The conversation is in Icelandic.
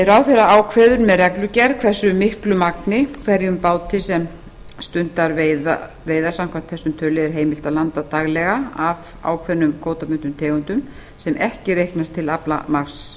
ráðherra ákveður með reglugerð hversu miklu magni hverjum báti sem stundar veiðar samkvæmt þessum tölulið er heimilt að landa daglega af ákveðnum kvótabundnum tegundum sem ekki reiknast til aflamarks